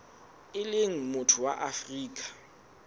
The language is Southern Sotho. e leng motho wa afrika